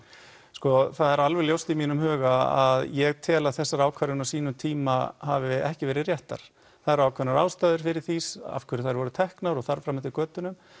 sko það er alveg ljóst í mínum huga að ég tel að þessar ákvarðanir á sínum tíma hafi ekki verið réttar það eru ákveðnar ástæður fyrir því af hverju þær voru teknar og þar fram eftir götunum